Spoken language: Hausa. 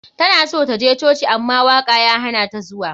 Tana so ta je coci ama waka ya hanata zuwa.